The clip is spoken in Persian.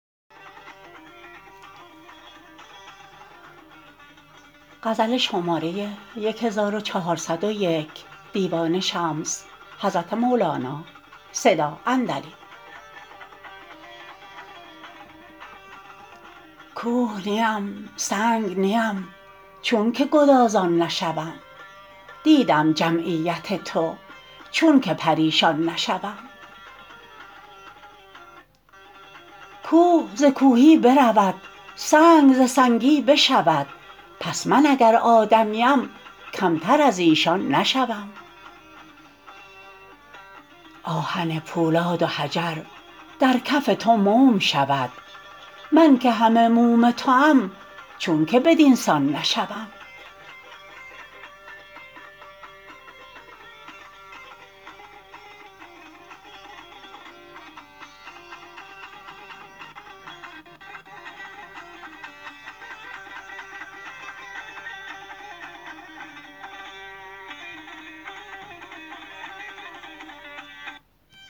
کوه نیم سنگ نیم چونک گدازان نشوم دیدم جمعیت تو چونک پریشان نشوم کوه ز کوهی برود سنگ ز سنگی بشود پس من اگر آدمیم کمتر از ایشان نشوم آهن پولاد و حجر در کف تو موم شود من که همه موم توام چونک بدین سان نشوم